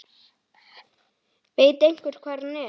Veit einhver hvar hann er?